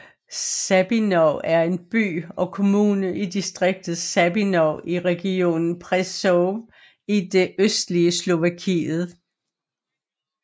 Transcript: Sabinov er en by og kommune i distriktet Sabinov i regionen Prešov i det østlige Slovakiet